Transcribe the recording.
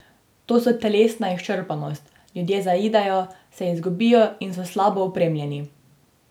To so telesna izčrpanost, ljudje zaidejo, se izgubijo in slabo opremljeni.